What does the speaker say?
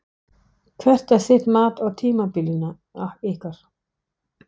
Hvert er þitt mat á tímabilinu ykkar?